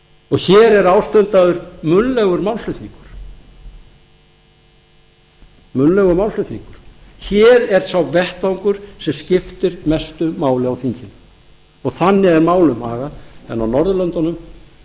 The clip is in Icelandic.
og hér er ástundaður munnlegur málflutningur hér er sá vettvangur sem skiptir mestu máli á þinginu og þannig er málum hagað en á norðurlöndunum